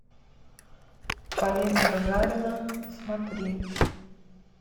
полина гагарина смотри